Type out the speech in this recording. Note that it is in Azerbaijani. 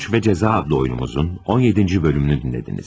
Suç və Cəza adlı oyunumuzun 17-ci bölümünü dinlədiniz.